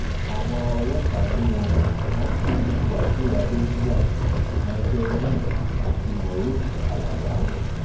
àwọn ọlọ́pàá lè wọ̀n wọ́n sì rí wàsíù adẹnuga micheal john àti moruf alábà mú